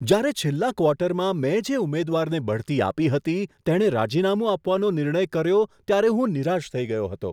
જ્યારે છેલ્લા ક્વાર્ટરમાં મેં જે ઉમેદવારને બઢતી આપી હતી તેણે રાજીનામું આપવાનો નિર્ણય કર્યો ત્યારે હું નિરાશ થઈ ગયો હતો.